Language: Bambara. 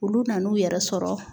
Olu nan'u yɛrɛ sɔrɔ